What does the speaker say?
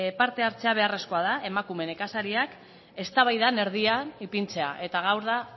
parte hartzea beharrezkoa da emakume nekazariak eztabaidaren erdian ipintzea eta gaur da